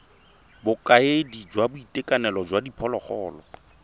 bokaedi jwa boitekanelo jwa diphologolo